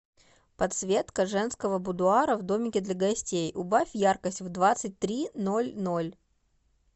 подсветка женского будуара в домике для гостей убавь яркость в двадцать три ноль ноль